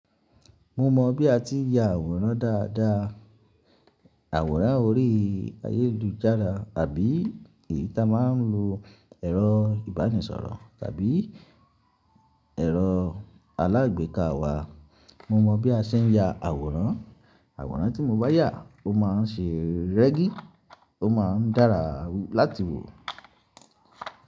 Mo mọ bí a ti ń ya àwòrán dáadáa, àwòrán orí ayélujára tàbí èyí tí a máa ń lo ẹ̀rọ ìbánisọ̀rọ̀ tàbí ẹ̀rọ alágbèéká wa. Mo mọ bí a ṣe ń ya àwòrán, àwòrán tí mo bá yà ó máa ṣe rẹ́gí, ó máa ń dára láti wò.